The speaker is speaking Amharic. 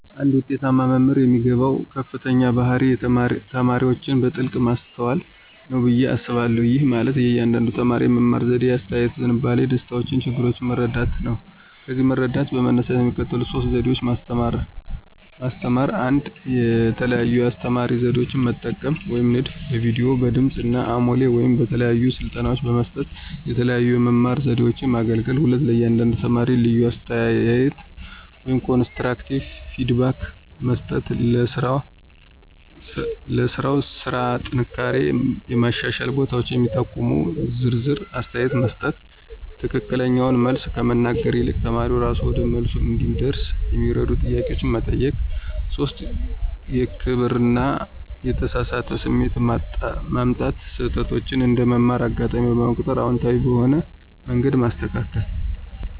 አንድ ውጤታማ መምህር የሚገባው ከፍተኛው ባህሪ ተማሪዎችን በጥልቀት ማስተዋል ነው ብዬ አስባለሁ። ይህ ማለት የእያንዳንዱን ተማሪ የመማር ዘዴ፣ የአስተያየት ዝንባሌ፣ ደስታዎችና ችግሮች መረዳት ነው። ከዚህ መረዳት በመነሳት የሚከተሉት ሶስት ዘዴ ማስተማራ 1, የተለያዩ የአስተማራ ዘዴዎችን መጠቀም (ንድፍ)፣ በቪዲዮ፣ በድምጽ አሞሌ ወይም በተግባራዊ ስልጠና በመስጠት የተለያዩ የመማር ዘዴዎችን ማገለገል። 2, ለእያንዳንዱ ተማሪ ልዩ አስተያየት (ኮንስትራክቲቭ ፊድባክ) መስጠት · ለሥራው ስራ ጥንካሬውና የማሻሻል ቦታውን የሚጠቁም ዝርዝር አስተያየት መስጠት።· የትክክለኛውን መልስ ከመናገር ይልቅ ተማሪው እራሱ ወደ መልሱ እንዲደርስ የሚረዱ ጥያቄዎችን መጠየቅ። 3, የክብር እና የተሳካ ስሜት ማምጣት· ስህተቶችን እንደ መማር አጋጣሚ በመቁጠር አዎንታዊ በሆነ መንገድ ማስተካከል።